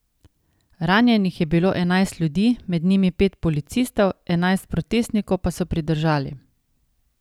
Ranjenih je bilo enajst ljudi, med njimi pet policistov, enajst protestnikov pa so pridržali.